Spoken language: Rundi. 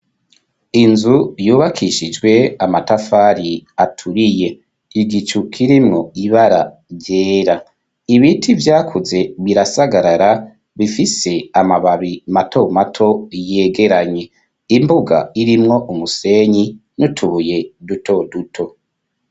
Inzu yubakishijwe amatafari aturiye, igicu kirimwo ibara ryera. Ibiti vyakuze birasagarara bifise amababi matomato yegeranye. Imbuga irimwo umusenyi n'utubuye dutoduto.